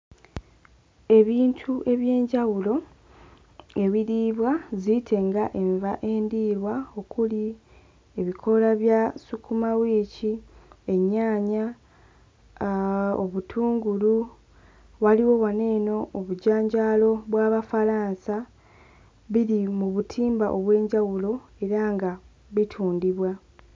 Ebintu eby'enjawulo ebiriibwa ziyite nga enva endiirwa, okuli ebikoola bya ssukuma wiiki, ennyaanya, aa obutungulu waliwo wano eno obujanjaalo bw'Abafalansa biri mu butimba obw'enjawulo era nga bitundibwa.